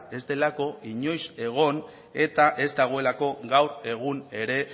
ez delako inoiz egon eta ez dagoelako gaur egun ere